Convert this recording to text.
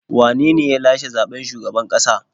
Wane ne ya lashe zaɓen shugaban ƙasa?